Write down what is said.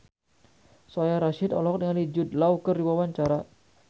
Soraya Rasyid olohok ningali Jude Law keur diwawancara